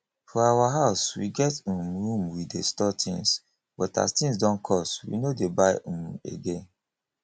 for our house we get um room we dey store things but as things don cost we no dey buy um again